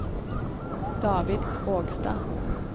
David Krogstad